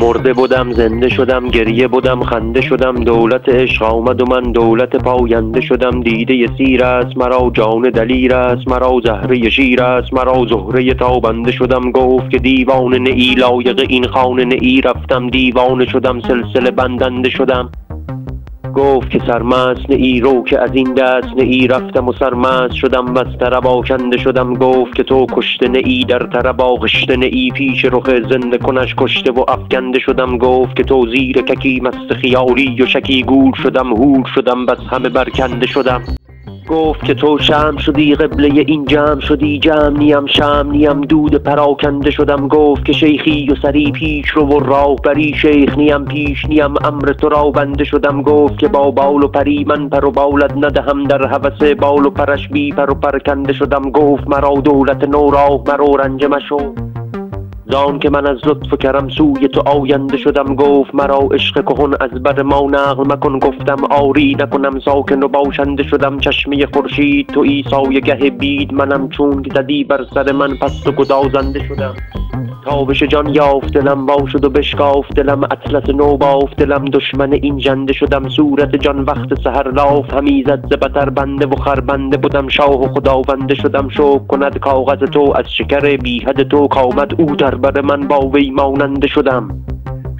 مرده بدم زنده شدم گریه بدم خنده شدم دولت عشق آمد و من دولت پاینده شدم دیده سیر است مرا جان دلیر است مرا زهره شیر است مرا زهره تابنده شدم گفت که دیوانه نه ای لایق این خانه نه ای رفتم دیوانه شدم سلسله بندنده شدم گفت که سرمست نه ای رو که از این دست نه ای رفتم و سرمست شدم وز طرب آکنده شدم گفت که تو کشته نه ای در طرب آغشته نه ای پیش رخ زنده کنش کشته و افکنده شدم گفت که تو زیرککی مست خیالی و شکی گول شدم هول شدم وز همه برکنده شدم گفت که تو شمع شدی قبله این جمع شدی جمع نیم شمع نیم دود پراکنده شدم گفت که شیخی و سری پیش رو و راهبری شیخ نیم پیش نیم امر تو را بنده شدم گفت که با بال و پری من پر و بالت ندهم در هوس بال و پرش بی پر و پرکنده شدم گفت مرا دولت نو راه مرو رنجه مشو زانک من از لطف و کرم سوی تو آینده شدم گفت مرا عشق کهن از بر ما نقل مکن گفتم آری نکنم ساکن و باشنده شدم چشمه خورشید تویی سایه گه بید منم چونک زدی بر سر من پست و گدازنده شدم تابش جان یافت دلم وا شد و بشکافت دلم اطلس نو بافت دلم دشمن این ژنده شدم صورت جان وقت سحر لاف همی زد ز بطر بنده و خربنده بدم شاه و خداونده شدم شکر کند کاغذ تو از شکر بی حد تو کآمد او در بر من با وی ماننده شدم